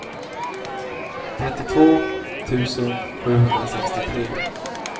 trettiotvå tusen sjuhundrasextiotre